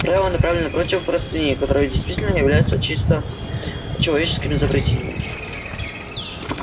правило направлено против простыней которые действительно являются чисто человеческим изобретением